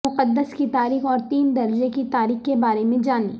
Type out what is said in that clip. مقدس کی تاریخ اور تین درجے کی تاریخ کے بارے میں جانیں